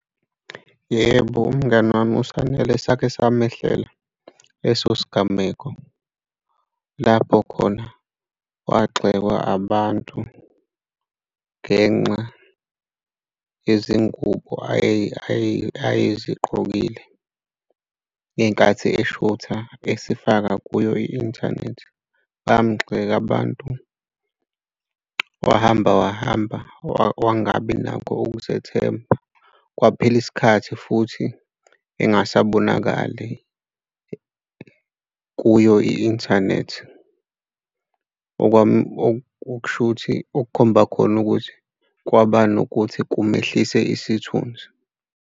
Yebo, umngani wami uSanele sake samehlela leso sigameko, lapho khona wagxekwa abantu ngenxa yezingubo ayezigqokile ngenkathi eshutha esifaka kuyo i-inthanethi. Bamgxeka abantu wahamba, wahamba, wangabi nakho ukuzethemba kwaphela isikhathi futhi engasabonakali kuyo i-inthanethi okusho ukuthi, okukhomba khona ukuthi kwaba nokuthi kungehlise isithunzi.